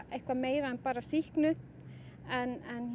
eitthvað meira en bara sýknu en